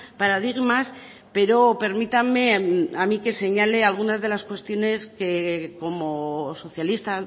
paradigmas pero permítanme a mí que señale algunas de las cuestiones que como socialista